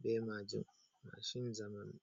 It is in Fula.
be majum mashin zamanu